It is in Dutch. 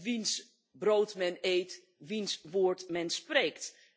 Wiens brood men eet, diens woord men spreekt.